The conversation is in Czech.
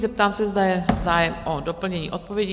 Zeptám se, zda je zájem o doplnění odpovědi?